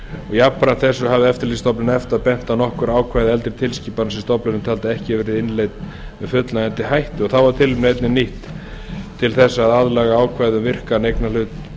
jafnframt þessu hafði eftirlitsstofnun efta bent á nokkur ákvæði eldri tilskipana sem stofnunin taldi að ekki hefðu verið innleidd með fullnægjandi hætti þá var tilefnið einnig nýtt til þess að aðlaga ákvæði um virkan eignarhlut